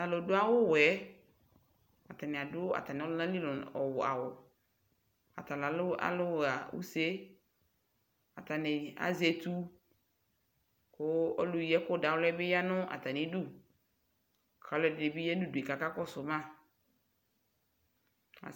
talʋ ɖʋawʋwɛɛ atani aɖʋ atamiɔlʋnali awʋ atala nalʋha ʋsee atani aƶɛtʋ kʋ ɔlʋyi ɛkʋɖawli yanʋ ataniɖʋ kalʋ ɛɖinibi ya nʋ ɖʋe ka kakɔsʋma